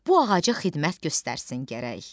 Bu ağaca xidmət göstərsin gərək.